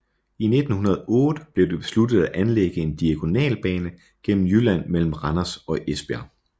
I 1908 blev det besluttet at anlægge en diagonalbane gennem Jylland mellem Randers og Esbjerg